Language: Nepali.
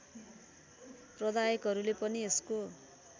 प्रदायकहरूले पनि यसको